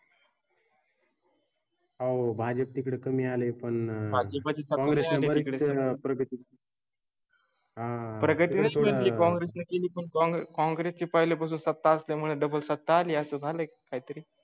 हो भाजपा तिकडे कमी आले. पण म्हणजे कॉंग्रेस चे. बग शील कॉंग्रेस ने केली, पण कॉंग्रेस चे पहिले पासून सत्ता असल्यामुळे डबल सत्ता आली असे झाले काहीतरी.